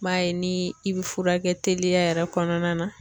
N b'a ye ni i bi furakɛ teliya yɛrɛ kɔnɔna na